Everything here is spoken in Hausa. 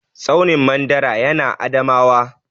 Tsaunin mandara ya na Adamawa